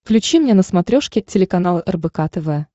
включи мне на смотрешке телеканал рбк тв